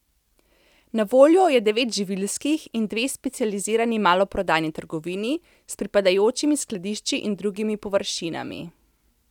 Na voljo je devet živilskih in dve specializirani maloprodajni trgovini s pripadajočimi skladišči in drugimi površinami.